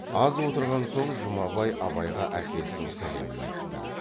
аз отырған соң жұмабай абайға әкесінің сәлемін айтты